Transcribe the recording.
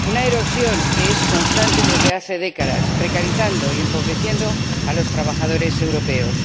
Una erosión que es constante desde hace décadas, que precariza y empobrece a los trabajadores europeos.